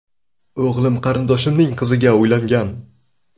O‘g‘lim qarindoshimning qiziga uylangan.